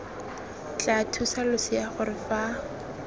tla thusa losea gore fa